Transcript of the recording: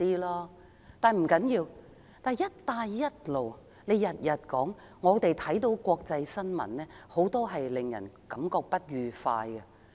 梁振英整天提到"一帶一路"，但我們看到國際新聞，很多國家對"一帶一路"感覺不快。